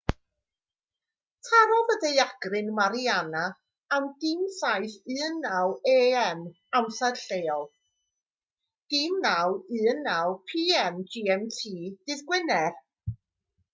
tarodd y daeargryn mariana am 07:19 a.m. amser lleol 09:19 p.m. gmt dydd gwener